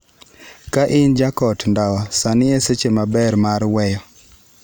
Ka in jakot ndawa, sani e seche maber mar weyo.